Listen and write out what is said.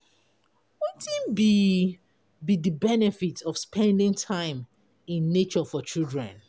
wetin be be di benefit of spending time in nature for children?